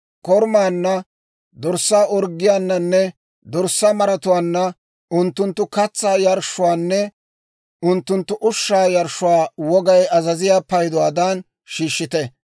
Korumaanna, dorssaa orggiyaananne dorssaa maratuwaanna unttunttu katsaa yarshshuwaanne unttunttu ushshaa yarshshuwaa wogay azaziyaa payduwaadan shiishshite.